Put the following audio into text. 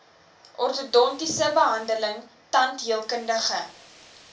ortodontiese behandeling tandheelkundige